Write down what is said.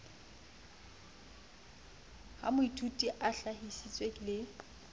ha moithuti a hlahisitse le